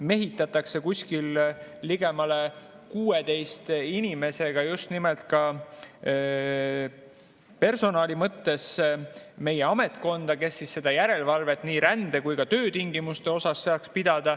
Meie ametkonda mehitatakse ligemale 16 inimesega, kes seda järelevalvet nii rände kui ka töötingimuste üle saaks teha.